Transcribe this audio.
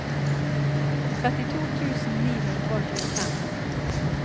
trettito tusen ni hundre og tjuefem